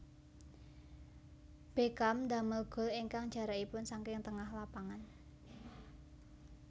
Beckham damel gol ingkang jarakipun saking tengah lapangan